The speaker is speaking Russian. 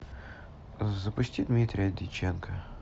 запусти дмитрия дьяченко